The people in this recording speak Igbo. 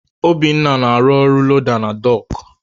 Obinna na-arụ ọrụ loda na dọọkụ.